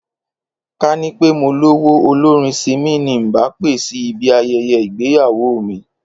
Ká ní pé mo lówó, olórin Simi ni ǹ bá pè sí ibi aye̩ye̩ ìgbéyàwó mi